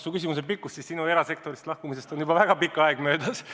Sinu küsimuse pikkuse järgi otsustades on sinu erasektorist lahkumisest juba väga pikk aeg möödas.